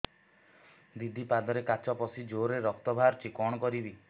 ଦିଦି ପାଦରେ କାଚ ପଶି ଜୋରରେ ରକ୍ତ ବାହାରୁଛି କଣ କରିଵି